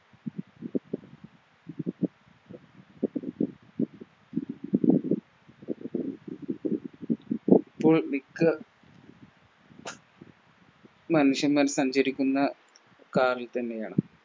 മനുഷ്യന്മാർ സഞ്ചരിക്കുന്ന Car ൽ തന്നെയാണ്